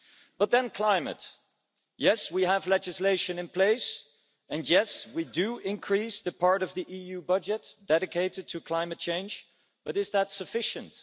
But then climate yes, we have legislation in place, and yes, we do increase the part of the EU budget dedicated to climate change, but is that sufficient?